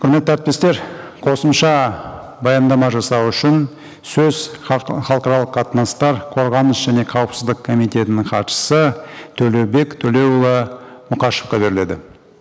құрметті әріптестер қосымша баяндама жасау үшін сөз халықаралық қатынастар қорғаныс және қауіпсіздік комитетінің хатшысы төлеубек төлеұлы мұқашевқа беріледі